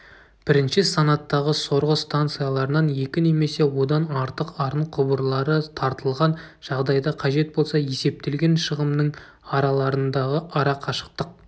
бірінші санаттағы сорғы станцияларынан екі немесе одан артық арын құбырлары тартылған жағдайда қажет болса есептелген шығымның араларындағы арақашықтық